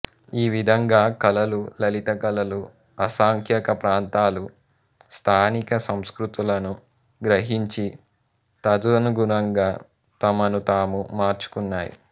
ఈ విధంగా కళలు లలిత కళలు అసంఖ్యాక ప్రాంతాలు స్థానిక సంస్కృతులను గ్రహించి తదనుగుణంగా తమను తాము మార్చుకున్నాయి